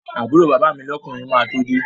Àbúrò bàbá mi lọ́kùnrin máa tó de